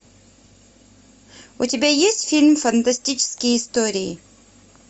у тебя есть фильм фантастические истории